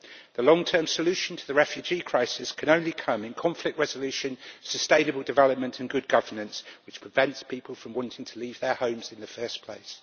The long term solution to the refugee crisis can only come in conflict resolution, sustainable development and good governance, which prevents people from wanting to leave their homes in the first place.